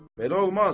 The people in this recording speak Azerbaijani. belə olmaz.